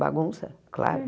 Bagunça, claro.